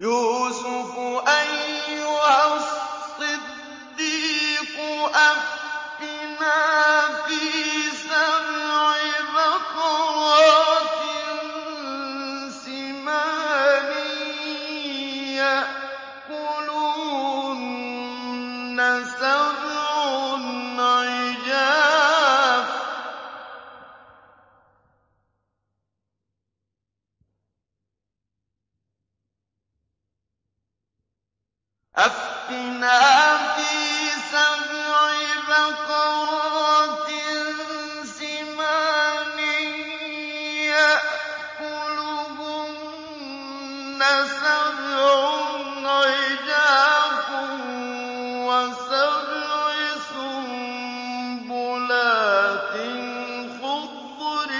يُوسُفُ أَيُّهَا الصِّدِّيقُ أَفْتِنَا فِي سَبْعِ بَقَرَاتٍ سِمَانٍ يَأْكُلُهُنَّ سَبْعٌ عِجَافٌ وَسَبْعِ سُنبُلَاتٍ خُضْرٍ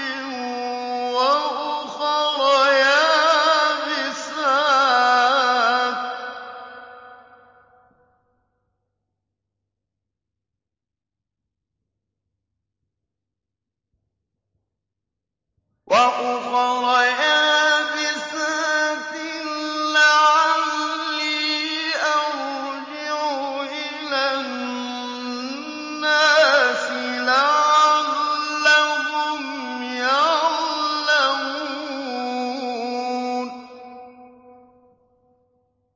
وَأُخَرَ يَابِسَاتٍ لَّعَلِّي أَرْجِعُ إِلَى النَّاسِ لَعَلَّهُمْ يَعْلَمُونَ